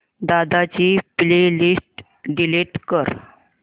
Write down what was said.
दादा ची playlist delete कर